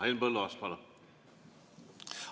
Henn Põlluaas, palun!